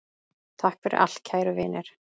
Takk fyrir allt, kæru vinir!